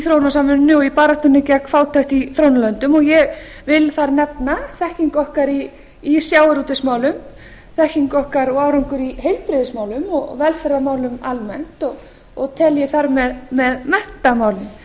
þróunarsamvinnunni og í baráttunni gegn fátækt í þróunarlöndum og ég vil þar nefna þekkingu okkar í sjávarútvegsmálum þekkingu okkar og árangur í heilbrigðismálum og velferðarmálum almennt og tel ég þar með menntamálin